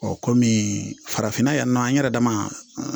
kɔmi farafinna yan nɔ an yɛrɛ dama